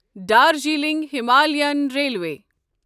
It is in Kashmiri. Darjeeling Himalayan railway